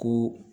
Ko